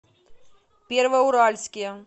первоуральске